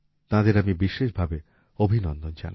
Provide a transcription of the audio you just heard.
তাঁদের আমি বিশেষভাবে অভিনন্দন জানাই